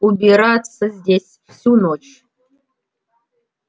убираться здесь всю ночь